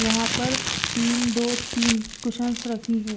यहां पर तीन दो तीन कुशंस रखी है।